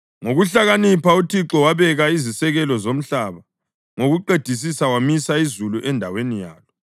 Ngokuhlakanipha uThixo wabeka izisekelo zomhlaba, ngokuqedisisa wamisa izulu endaweni yalo;